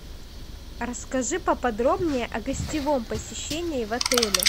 расскажи поподробнее о гостевом посещении в отеле